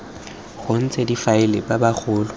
go ntse difaele tsa bagolo